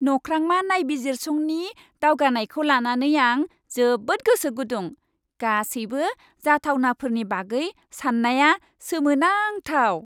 नख्रांमा नायबिजिरसंनि दावगानायखौ लानानै आं जोबोद गोसो गुदुं। गासैबो जाथावनाफोरनि बागै साननाया सोमोनांथाव।